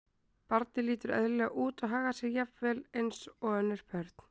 Barnið lítur eðlilega út og hagar sér jafnvel eins og önnur börn.